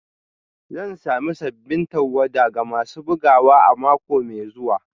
Zan sami sabbin tawada ga masu bugawa a mako mai zuwa